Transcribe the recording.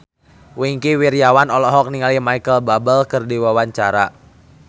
Wingky Wiryawan olohok ningali Micheal Bubble keur diwawancara